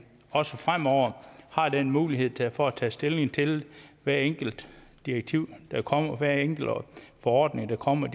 også fremover har den mulighed for at tage stilling til hvert enkelt direktiv der kommer og hver enkelt forordning der kommer